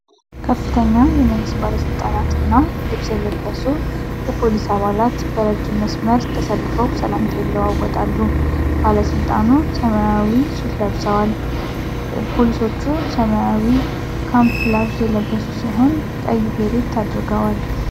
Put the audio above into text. ከፍተኛ የመንግስት ባለስልጣናት እና የደንብ ልብስ የለበሱ የፖሊስ አባላት በረጅም መስመር ተሰልፈው ሰላምታ ይለዋወጣሉ። ባለስልጣኑ ሰማያዊ ሱት ለብሷል። ፖሊሶቹ ሰማያዊ ካሞፍላዥ የለበሱ ሲሆን ቀይ ቤሬት አድርገዋል።